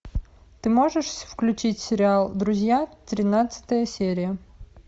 ты можешь включить сериал друзья тринадцатая серия